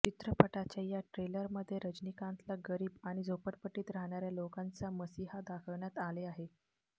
चित्रपटाच्या या ट्रेलरमध्ये रजनीकांतला गरीब आणि झोपटपट्टीत राहणाऱ्या लोकांचा मसीहा दाखवण्यात आले आहे